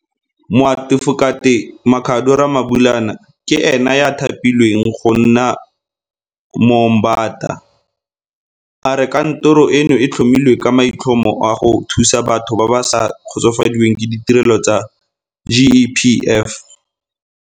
Moatefokate Makhado Ramabulana ke ene yo a thapilweng go nna Moombata. A re kantoro eno e tlhomilwe ka maitlhomo a go thusa batho ba ba sa kgotsofadiweng ke ditirelo tsa GEPF.